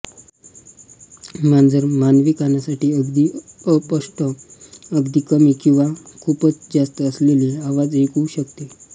मांजर मानवी कांनांसाठी अगदी अस्पष्ट अगदी कमी किंवा खूपच जास्त असलेले आवाज ऐकू शकते